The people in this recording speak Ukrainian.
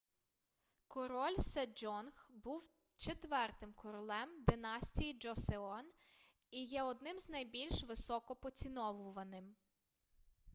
король седжонг був четвертим королем династії джосеон і є одним з найбільш високо поціновуваним